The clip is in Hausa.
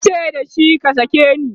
tace da shi"ka sake ni!"